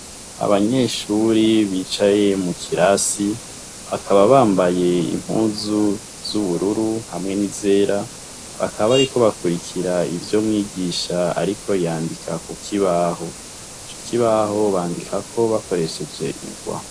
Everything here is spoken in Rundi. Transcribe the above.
Abanyeshure bicaye mu kirasi bakaba bambaye impuzu z'ubururu hamwe n'izera bakaba bariko bakurikira ivyo mwigisha ariko yandika ku kibaho . Ico kibaho bandikako bakoresheje ingwa.